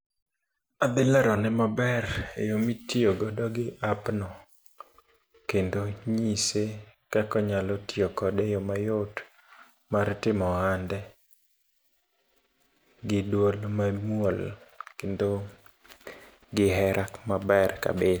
Adhi lero ne maber e yo mitiyogodo gi app no. Kendo nyise kaka anyalo tiyo kode, e yo mayot mar timo ohande. Gi duol mamuol, kendo gi hera maber kabisa.